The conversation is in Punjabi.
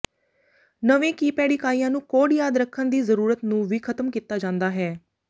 ਨਵੇਂ ਕੀਪੈਡ ਇਕਾਈਆਂ ਨੂੰ ਕੋਡ ਯਾਦ ਰੱਖਣ ਦੀ ਜ਼ਰੂਰਤ ਨੂੰ ਵੀ ਖ਼ਤਮ ਕੀਤਾ ਜਾਂਦਾ ਹੈ